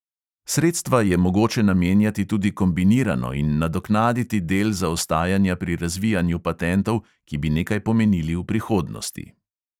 Sredstva je mogoče namenjati tudi kombinirano in nadoknaditi del zaostajanja pri razvijanju patentov, ki bi nekaj pomenili v prihodnosti.